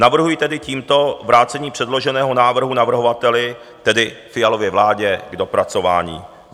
Navrhuji tedy tímto vrácení předloženého návrhu navrhovateli, tedy Fialově vládě, k dopracování.